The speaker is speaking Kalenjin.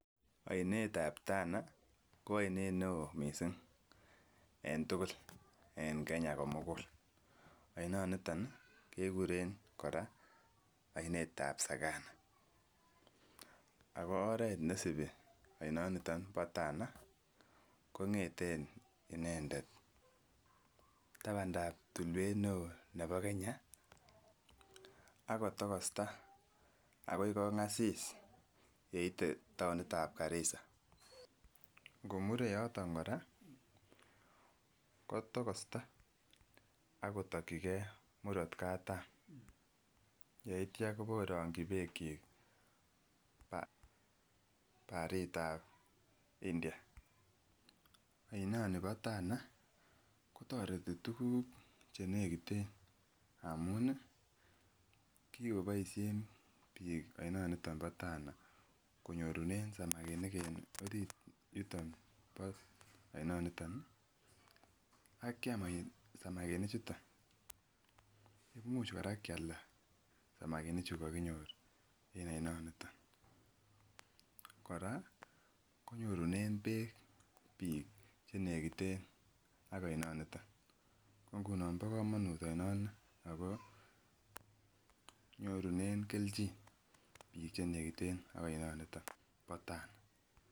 Oinetab Tana ko oinet neo missing en tukuk en Kenya komugul oino niton kekuren Koraa oinetab sakama, ako oret neisibi oinoniton bo Tana kongeten inendet tabandap tullwet neo nebo nebo kenya ak kotokosta akoi kongasis yeite townitab karisa Ngomure yoton koraa kotokosta akotokigee murot katam yeityo kobokoringi beek chik ba baritab India. Oinoni bo Tana kotoreti tukuk chenekiten amun nii kokiboishen bik oinoniton bo Tana konyorunen samakinik en orit yuton bo oinoniton nii akiam samakinik chuton. Imuch koraa Kialda samakinik chu kokinyor en oinoniton Koraa konyunen beek bik chenekiten ak oino niton, ko ngunon bo komonut oinoni ako nyorun keljin bik chemiten yenekiten ak oinoniton bo Tana.